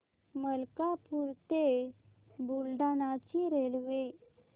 मलकापूर ते बुलढाणा ची रेल्वे